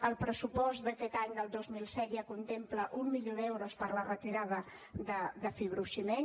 el pressupost d’aquest any del dos mil disset ja contempla un milió d’euros per a la retirada de fibrociment